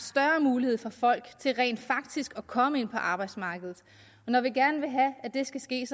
mulighed for folk til rent faktisk at komme ind på arbejdsmarkedet når vi gerne vil have at det skal ske er